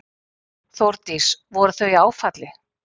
Þórdís: Voru þau í áfalli?